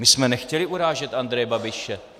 My jsme nechtěli urážet Andreje Babiše.